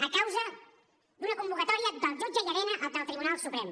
a causa d’una convocatòria del jutge llarena del tribunal suprem